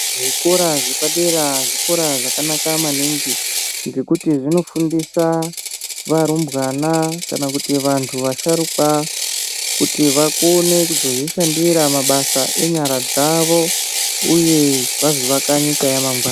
Zvikora zvepadera zvikora zvakanaka maningi ngekuti zvinofundisa varumbwana kana kuti vantu vasharukwa kuti vakone kuzozvishandita mabasa enyara dzavo uye vazovaka nyika yamangwani.